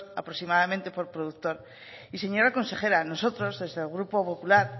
aproximadamente por productor y señora consejera nosotros desde el grupo popular